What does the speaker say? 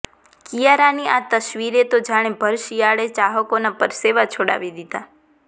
કિયારાની આ તસવીરે તો જાણે ભરશિયાળે ચાહકોના પરસેવા છોડાવી દીધાં